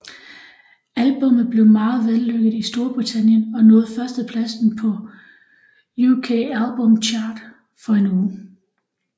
Albummet blev meget vellykket i Storbritannien og nåede førstepladsen på UK Albums Chart for en uge